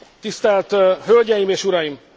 Tisztelt hölgyeim és uraim!